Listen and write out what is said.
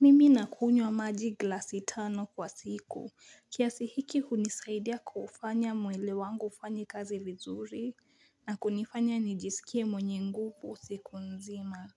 Mimi nakunywa maji glasi tano kwa siku kiasi hiki hunisaidia kufanya mwili wangu ufanye kazi vizuri na kunifanya nijisikie mwenye nguvu siku nzima.